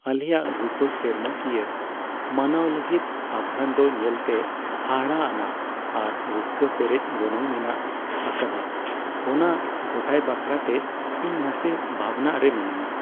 ᱟᱞᱮᱭᱟᱜ ᱨᱩᱯᱟᱹ ᱥᱮᱨᱢᱟ ᱠᱤᱭᱟᱹ ᱢᱟᱱᱟᱣ ᱞᱟᱹᱜᱤᱫ ᱟᱵᱷᱨᱟᱱ ᱫᱚ ᱧᱮᱞᱛᱮ ᱦᱟᱦᱟᱲᱟᱜ ᱟᱱᱟᱜ ᱟᱨ ᱨᱟᱹᱥᱠᱟᱹ ᱯᱮᱨᱮᱡ ᱜᱚᱱᱚᱝ ᱢᱮᱱᱟᱜ ᱟᱠᱟᱫᱟ ᱚᱱᱟ ᱜᱚᱴᱟᱭ ᱵᱟᱠᱷᱨᱟᱛᱮ ᱤᱧ ᱱᱟᱥᱮ ᱵᱷᱟᱵᱽᱱᱟ ᱨᱮ ᱢᱤᱱᱟᱹᱧᱟ ᱾